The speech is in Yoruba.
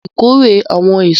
harvest the fruits